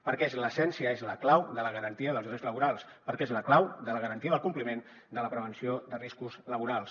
perquè és l’essència és la clau de la garantia dels drets laborals perquè és la clau de la garantia del compliment de la prevenció de riscos laborals